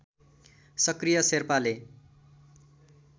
सक्रिय शेर्पाले